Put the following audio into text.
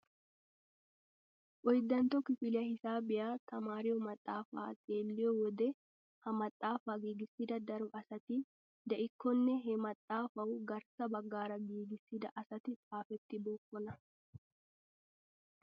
Oyddantto kifiliyaa hisaabiyaa tamariyoo maxaafaa xeelliyoo wode ha maxaafaa giigissida daro asati diikkonne he maaxafawu garssa baggaara giigissida asati xaafettibookona.